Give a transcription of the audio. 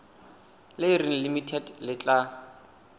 le reng limited le tla